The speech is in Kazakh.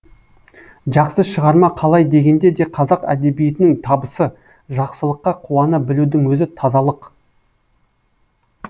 жақсы шығарма қалай дегенде де қазақ әдебиетінің табысы жақсылыққа қуана білудің өзі тазалық